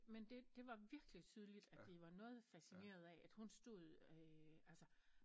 Men det det var virkelig tydeligt at de var noget fascineret af at hun stod altså